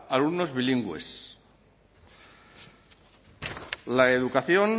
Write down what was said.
alumnos bilingües la educación